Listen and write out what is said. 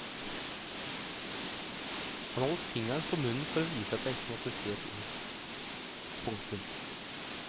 Han holdt fingeren for munnen for å vise at jeg ikke måtte si et ord. punktum